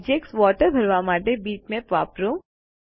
object water ભરવા માટે bitmap વાપરો